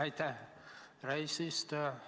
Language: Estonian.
Aitäh, härra eesistuja!